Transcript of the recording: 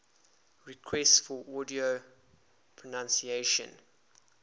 requests for audio pronunciation